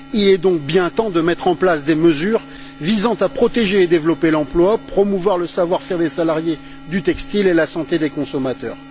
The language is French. Il est bien temps de mettre en place des mesures visant à protéger et à développer l'emploi, à promouvoir le savoir faire des salariés du textile et la santé des consommateurs.